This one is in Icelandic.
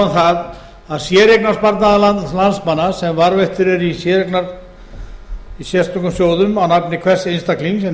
það að séreignarsparnaður landsmanna sem varðveittur er í sérstökum sjóðum á nafni hvers einstaklings en